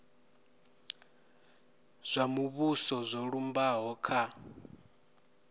zwa muvhuso zwo lumbaho kha